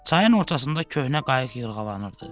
Çayın ortasında köhnə qayıq yırğalanırdı.